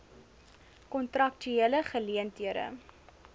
kontraktuele geleen thede